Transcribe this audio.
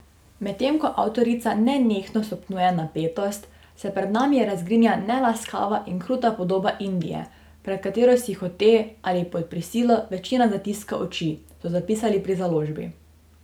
Medtem ko avtorica nenehno stopnjuje napetost, se pred nami razgrinja nelaskava in kruta podoba Indije, pred katero si hote ali pod prisilo večina zatiska oči, so zapisali pri založbi.